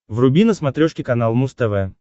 вруби на смотрешке канал муз тв